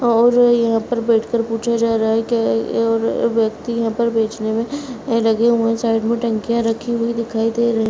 और यहाँ पर बैठ कर पूछा जा रहा है क्या या और व्यक्ति यहाँ पर बेचने में लगे हुए है साइड में टंकियां रखी हुई दिखाई दे रही है।